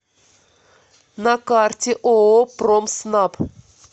на карте ооо промснаб